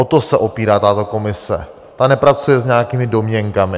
O to se opírá tato komise, ta nepracuje s nějakými domněnkami.